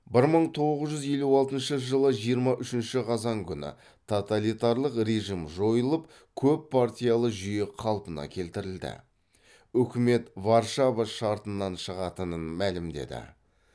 бір мың тоғыз жүз елу алтыншы жылы жиырма үшінші қазан күні тоталитарлық режим жойылып көппартиялы жүйе қалпына келтірілді үкімет варшава шартынан шығатынын мәлімдеді